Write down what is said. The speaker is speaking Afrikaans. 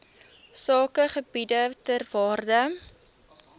sakegebiede ter waarde